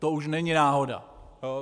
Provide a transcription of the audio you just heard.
To už není náhoda.